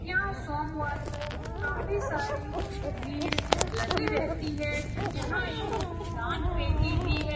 यहाँ सोमवर को काफी सारी भीड़ लगी रहती है यहाँ एक दान-पेटी भी है।